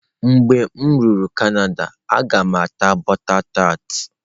Mgbe m rutere Canada, a ga m ata butter tart.